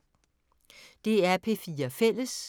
DR P4 Fælles